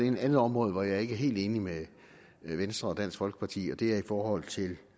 et andet område hvor jeg ikke er helt enig med venstre og dansk folkeparti og det er i forhold til